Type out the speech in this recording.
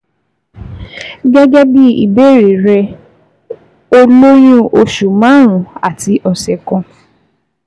Gẹ́gẹ́ bí ìbéèrè rẹ, o lóyún oṣù márùn-ún àti ọ̀sẹ̀ kan